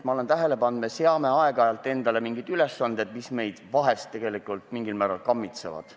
Ma olen tähele pannud, et me seame aeg-ajalt endale mingid ülesanded, mis meid tegelikult mingil määral kammitsevad.